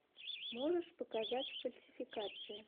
можешь показать фальсификация